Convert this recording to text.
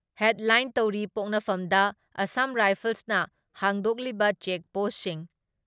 headline ꯇꯧꯔꯤ, ꯄꯣꯛꯅꯐꯝꯗ ꯑꯁꯥꯝ ꯔꯥꯏꯐꯜꯁꯅ ꯍꯥꯡꯗꯣꯛꯂꯤꯕ ꯆꯦꯛ ꯄꯣꯁꯁꯤꯡ